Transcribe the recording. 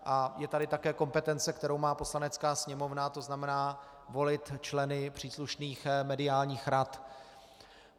A je tady také kompetence, kterou má Poslanecká sněmovna, to znamená volit členy příslušných mediálních rad.